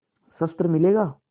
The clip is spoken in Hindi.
शस्त्र मिलेगा